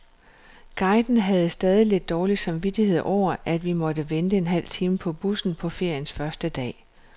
Guiden havde stadig lidt dårlig samvittighed over, at vi måtte vente en hel time på bussen på feriens første dag.